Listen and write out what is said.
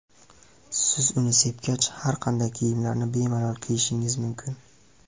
Siz uni sepgach, har qanday kiyimlarni bemalol kiyishingiz mumkin.